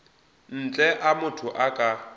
ntle a motho a ka